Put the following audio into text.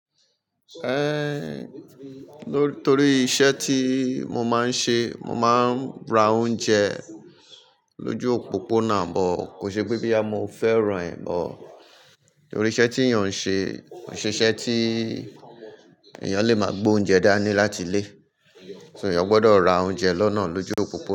Ehn, ló-- nítorí iṣẹ́ tí mo máa ń ṣe, mo máa ń ra oúnjẹ lójú òpópónà, but kò ṣe pé boya mo fẹ́ràn ẹ, but nítorí iṣẹ́ tí èèyàn ń ṣe, kò ṣe iṣẹ́ tí èèyàn lè máa gbé oúnjẹ dá ní láti ilé. Ṣé èèyàn gbọdọ̀ ra oúnjẹ lọ́nà lójú òpópónà?